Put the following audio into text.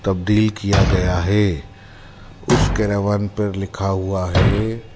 तबदिल किया गया है उसके रवन पर लिखा हुआ है।